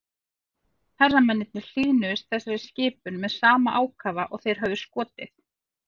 Hermennirnir hlýðnuðust þessari skipun með sama ákafa og þeir höfðu skotið.